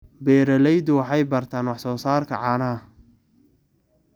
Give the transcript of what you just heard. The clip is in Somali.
Beeraleydu waxay bartaan wax soo saarka caanaha.